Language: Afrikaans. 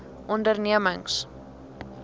ondernemings